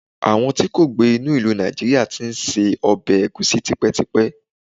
àwọn ti kò gbe ni ilu Naijiria ti n se obe egusi tipetipe